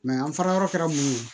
an farayɔrɔ kɛra mun ye